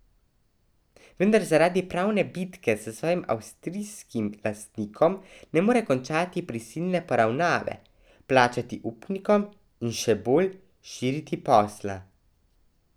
Vendar zaradi pravne bitke s svojim avstrijskim lastnikom ne more končati prisilne poravnave, plačati upnikom in še bolj širiti posla.